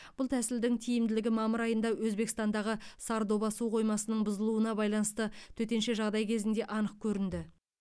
бұл тәсілдің тиімділігі мамыр айында өзбекстандағы сардоба су қоймасының бұзылуына байланысты төтенше жағдай кезінде анық көрінді